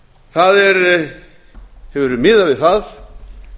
það hefur verið miðað við það